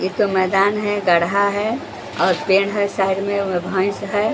एक तो मैदान है गढ़हा है और पेड़ है साइड में भैंस है ।